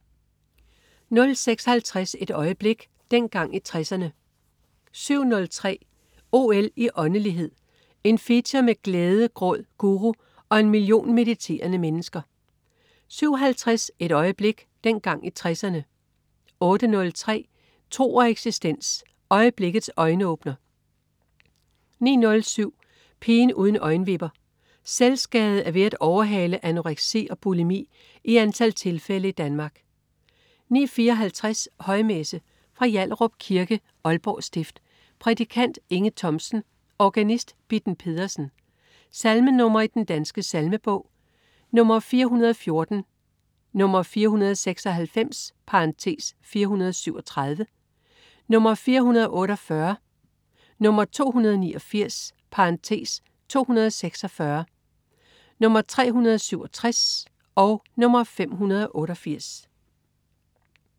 06.50 Et øjeblik. Dengang i 60'erne 07.03 OL i åndelighed. En feature med glæde, gråd, guru og en million mediterende mennesker 07.50 Et øjeblik. Dengang i 60'erne 08.03 Tro og eksistens. Øjeblikkets øjenåbner 09.07 Pigen uden øjenvipper. Selvskade er ved at overhale anoreksi og bulimi i antal tilfælde i Danmark 09.54 Højmesse. Fra Hjallerup Kirke, Aalborg stift. Prædikant: Inge Thomsen. Organist: Bitten Pedersen. Salmenr. i Den Danske Salmebog: 414, 496 (437), 448, 289 (246), 367, 588